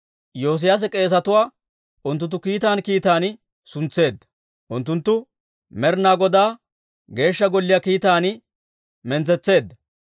Yoosiyaase k'eesetuwaa unttuntta kiitan kiitan suntseedda; unttunttu Med'inaa Godaa Geeshsha Golliyaa kiitaan mintsetseedda.